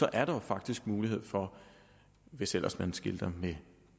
er der jo faktisk mulighed for hvis ellers man skilter med